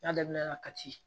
N'a daminɛ na kati